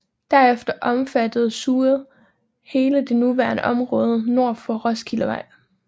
Derefter omfattede zooet hele det nuværende område nord for Roskildevej